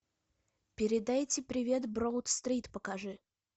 передайте привет броуд стрит покажи